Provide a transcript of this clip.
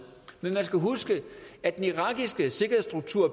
men man skal huske at den irakiske sikkerhedsstruktur